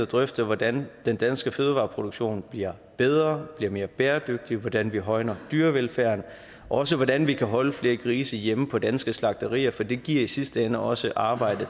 drøfte hvordan den danske fødevareproduktion bliver bedre bliver mere bæredygtig hvordan vi højner dyrevelfærden og også hvordan vi kan holde flere grise hjemme på danske slagterier for det giver i sidste ende også arbejde